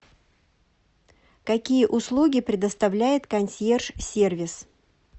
какие услуги предоставляет консьерж сервис